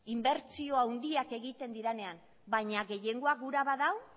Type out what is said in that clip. inbertsio handiak egiten direnean baina gehiengoak gura badau